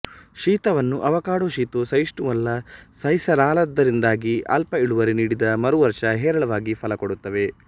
ಶೀತವನ್ನು ಆವಕಾಡೊ ಶೀತ ಸಹಿಷ್ಣುವಲ್ಲ ಸಹಿಸಲಾರದ್ದರಿಂದಾಗಿ ಅಲ್ಪ ಇಳುವರಿ ನೀಡಿದ ಮರು ವರ್ಷ ಹೇರಳವಾಗಿ ಫಲ ಕೊಡುತ್ತವೆ